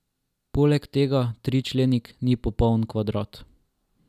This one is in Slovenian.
Poleg tega tričlenik ni popoln kvadrat.